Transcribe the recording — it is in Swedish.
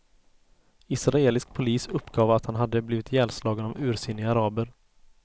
Israelisk polis uppgav att han hade blivit ihjälslagen av ursinniga araber.